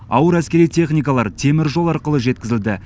ауыр әскери техникалар теміржол арқылы жеткізілді